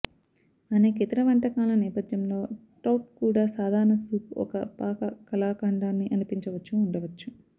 అనేక ఇతర వంటకాలను నేపథ్యంలో ట్రౌట్ కూడా సాధారణ సూప్ ఒక పాక కళాఖండాన్ని అనిపించవచ్చు ఉండవచ్చు